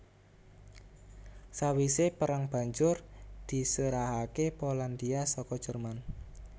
Sawisé perang banjur diserahaké Polandia saka Jerman